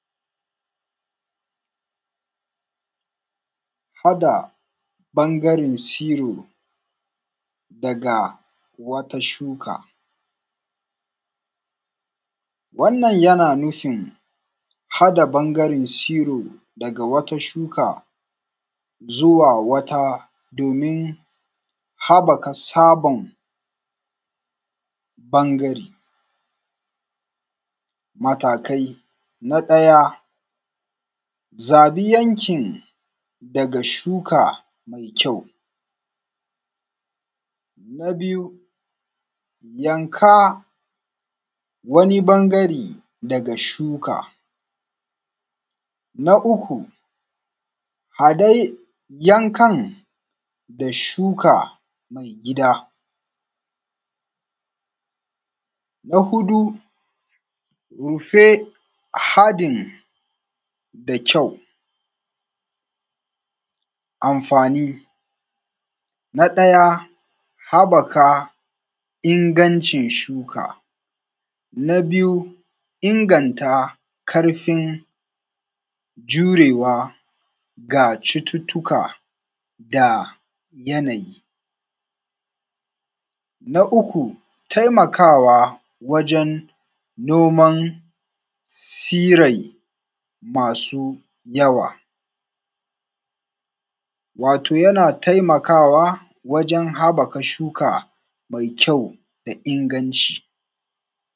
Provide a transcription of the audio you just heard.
Haɗa bangre tsiro. Daga wata shuka. Wannan yana nufin haɗa bangaren tsiro. Daga wata shuka. Zuwa wata domin. Haɓaka tsaban. Ɓangare. MatakaI, na ɗaja. Zabi yan kin. Daga shuka mai kyau. Na biyu. Yanka. Wani ɓangare daga shuka. Na uku. Adai yankan. Da shuka mai gida. Na huɗu. Rufe haɗin da kyau. Amfani. Na ɗaya. Habaka ingancin shuka. Na biyu. Inganta karfin, Jurewa ga cututtuka. Da yana yi. Na uku, taimakawa. Wajen noman sirai, Masu yawa. Wato yana taimakawa wajen haɓaka shuka. Mai kyau, daa inganci.